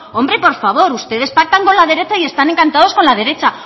hombre por favor ustedes pactan con la derecha y están encantados con la derecha